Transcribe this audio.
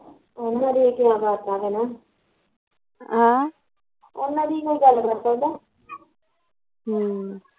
ਉਹਨਾਂ ਦੇਖ ਕੇ ਕਿਆ ਕਰਤਾ ਹੈਨਾ ਆਹ ਉਹਨਾਂ ਦੀ ਕੋਈ ਗੱਲ ਕਰ ਸਕਦਾ ਹਮ